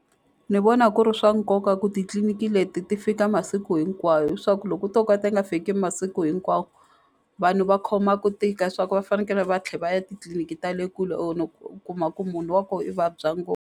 Ni vona ku ri swa nkoka ku titliniki leti ti fika masiku hinkwawo hi swa ku loko u to ka ti nga fiki masiku hinkwawo vanhu va khoma ku tika swa ku va fanekele va tlhe va ya titliliniki ta le kule u kuma ku munhu wa koho i vabya .